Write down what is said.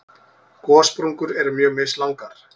Gossprungur eru mjög mislangar.